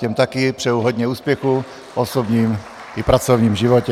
Těm také přeji hodně úspěchů v osobním i pracovním životě.